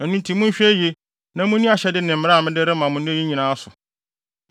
Ɛno nti, monhwɛ yiye na munni ahyɛde ne mmara a mede rema mo nnɛ yi nyinaa so.